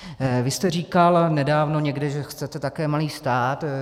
Vy jste říkal nedávno někde, že chcete také malý stát.